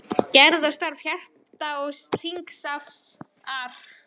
GERÐ OG STARF HJARTA OG HRINGRÁSAR